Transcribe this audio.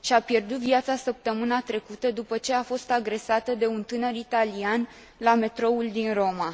Și a pierdut viața săptămâna trecută, după ce a fost agresată de un tânăr italian la metroul din Roma.